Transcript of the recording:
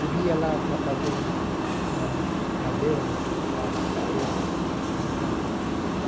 Se via lá para fazer uns uma cadeira, um sofá pequeno, ele não fazia.